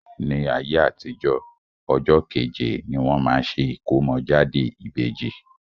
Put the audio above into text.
Ní ayé àtijo, ọjọ́ kẹ́je ni wọ́n máa ṣe ìkómọ́jáde ìbèjì.